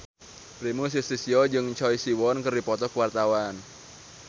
Primus Yustisio jeung Choi Siwon keur dipoto ku wartawan